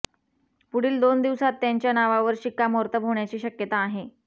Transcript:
पुढील दोन दिवसांत त्यांच्या नावावर शिक्कामोर्तब होण्याची शक्यता आहे